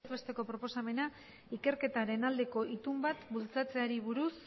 besteko proposamena ikerketaren aldeko itun bat bultzatzeari buruz